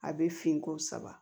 A bɛ fin ko saba